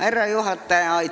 Härra juhataja!